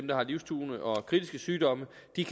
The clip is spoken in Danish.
der har livstruende og kritiske sygdomme